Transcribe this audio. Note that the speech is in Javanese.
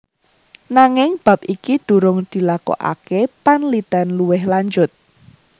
Nanging bab iki durung dilakokaké panlitèn luwih lanjut